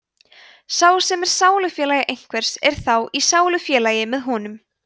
sá sem er sálufélagi einhvers er þá í sálufélagi með honum